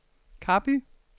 Karby